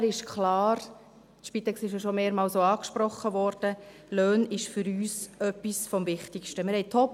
Von daher ist klar – die Spitex wurde ja auch schon mehrmals angesprochen –, dass die Löhne für uns etwas vom Wichtigsten sind.